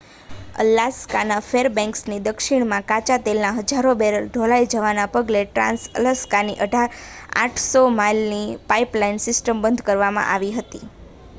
અલાસ્કાના ફેરબેન્ક્સની દક્ષિણમાં કાચા તેલના હજારો બેરલના ઢોળાઈ જવાના પગલે ટ્રાંસ-અલાસ્કાની 800 માઇલની પાઇપલાઇન સિસ્ટમ બંધ કરવામાં આવી હતી